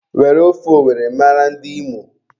Were ofe owere mara ndị Imo